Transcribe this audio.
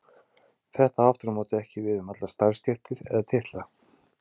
Þetta á aftur á móti ekki við um allar starfstéttir eða titla.